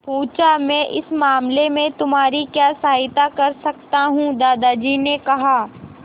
पूछा मैं इस मामले में तुम्हारी क्या सहायता कर सकता हूँ दादाजी ने कहा